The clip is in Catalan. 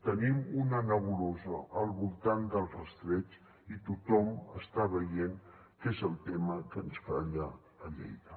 tenim una nebulosa al voltant del rastreig i tothom està veient que és el tema que ens falla a lleida